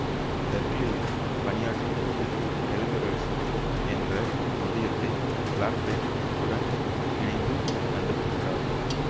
பெர்க்லியில் பணியாற்றும் போது டெலொமெரேசு என்ற நொதியத்தை பிளாக்பெர்ன் உடன் இணைந்து கண்டுபிடித்தார்